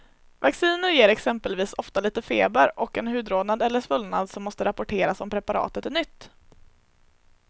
Vacciner ger exempelvis ofta lite feber och en hudrodnad eller svullnad som måste rapporteras om preparatet är nytt.